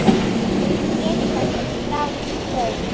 Gefið þessum strák gaum.